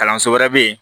Kalanso wɛrɛ bɛ yen